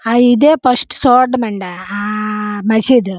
ఆ ఇదే ఫస్ట్ చూడడము అండీ. ఆ మస్జీద్ .